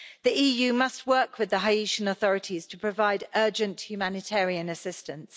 The EU must work with the Haitian authorities to provide urgent humanitarian assistance.